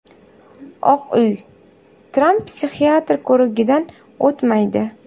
Oq Uy: Tramp psixiatr ko‘rigidan o‘tmaydi.